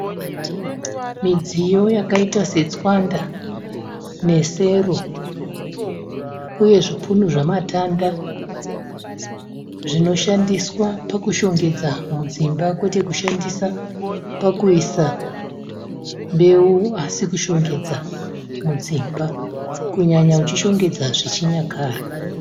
Midziyo yakaita setswanda nesero uye zvipunu zvamatanda zvinoshandiswa pakushongedza mudzimba kwete kushandisa pakuisa mbeu asi kushongedza mudzimba. Kunyanya uchishongedza zvechinyakare.